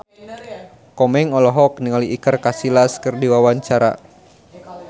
Komeng olohok ningali Iker Casillas keur diwawancara